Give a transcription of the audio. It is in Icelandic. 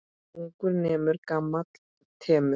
Ungur nemur, gamall temur.